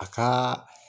A ka